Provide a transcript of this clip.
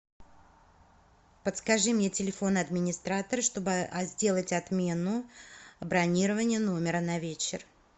подскажи мне телефон администратора чтобы сделать отмену бронирования номера на вечер